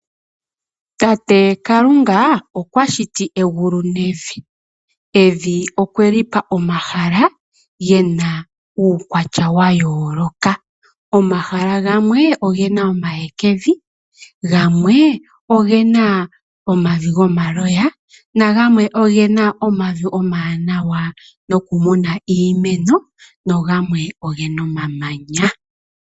Tate Kalunga okwa shiti egulu nevi, evi okweli pa omahala gena uukwatya wa yooloka. Omahala gamwe ogena omahekevi, gamwe omavi go maloya, nagamwe ogena omavi omawanawa no kumuna iimeno, nagamwe ogena omamanya.